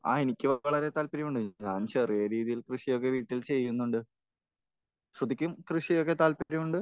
ആ എനിക്കും അതിൽ വളരെ താല്പര്യമുണ്ട്. ഞാൻ ചെറിയ രീതിയിൽ കൃഷിയൊക്കെ വീട്ടിൽ ചെയ്യുന്നുണ്ട്. ശ്രുതിക്ക് കൃഷിയിലൊക്കെ താല്പര്യമുണ്ട്?